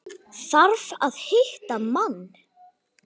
Þarf að hitta mann.